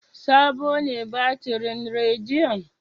Sabo ne batirin rediyon?